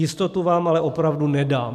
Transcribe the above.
Jistotu vám ale opravdu nedám.